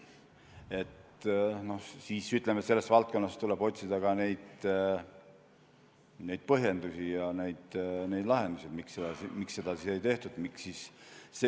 Ütleme siis, et selles valdkonnas tuleb otsida ka neid põhjendusi, miks seda siis ei tehtud, ja lahendusi.